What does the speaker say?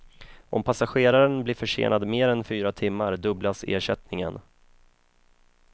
Om passageraren blir försenad mer än fyra timmar dubblas ersättningen.